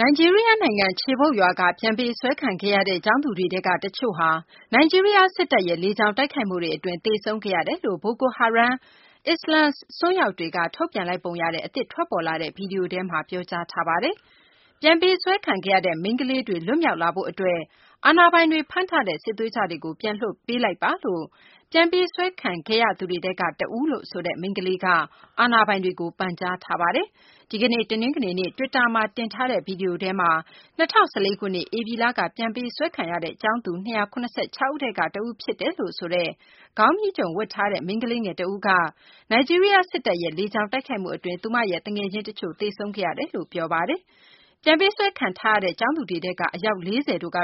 နိုင်ဂျီးရီးယားနိုင်ငံ Chibok ရွာက ပြန်ပေးဆွဲခံခဲ့ရတဲ့ ကျောင်းသူတွေထဲကတချို့ ဟာ နိုင်ဂျီးရီးယားစစ်တပ်ရဲ့ လေကြောင်း တိုက်ခိုက်မှုတွေ အတွင်း သေဆုံးခဲ့ ရတယ် လို့ ဘိုကို ဟာရမ်မ်း အစ္စလာမ်အစွန်းရောက်တွေက ထုတ်ပြန်လိုက်ပုံရတဲ့ အသစ် ထွက်ပေါ်လာတဲ့ ဗွီဒီယိုထဲမှာ ပြောကြားထားပါတယ်။ ပြန်ပေးဆွဲခံခဲ့ရတဲ့ မိန်းကလေးတွေ ပြန်လွတ်လာဖို့အတွက် အာဏာပိုင်တွေကဖမ်းထား တဲ့စစ်သွေးကြွတွေကို ပြန်လွှွှတ်ပေးလိုက် ပါလို့ ပြန်ပေးဆွဲခံခဲ့ရသူတွေထဲက တဦးလို့ဆိုတဲ့ မိန်းကလေးက အာဏာပိုင်တွေကို ပန်ကြားထားပါတယ်။ ဒီကနေ့ တနင်္ဂနွေနေ့ Twitter မှာ တင်ထားတဲ့ ဗွီဒီယိုထဲမှာ ၂၀၁၄ ခုနှစ် ဧပြီလက ပြန်ပေးဆွဲခံရတဲ့ ကျောင်းသူ ၂၇၆ ဦးထဲက တဦးဖြစ်တယ်လို့ ဆိုတဲ့ ခေါင်းမြီးခြုံဝတ်ထားတဲ့ မိန်းကလေးငယ်တဦးက နိုင်ဂျီးရီးယားစစ်တပ် ရဲ့ လေကြောင်းတိုက်ခိုက်မှုအတွင်း သူမရဲ့ သူငယ်ချင်းတချို့ သေဆုံးခဲ့ရတယ် လို့ ပြောပါတယ်။ ပြန်ပေးဆွဲခံထားရတဲ့ ကျောင်းသူတွေထဲက အယောက် ၄၀ တို့က